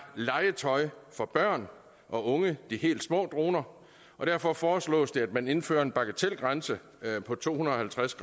legetøj for børn og unge de helt små droner og derfor foreslås det at man indfører en bagatelgrænse på to hundrede og halvtreds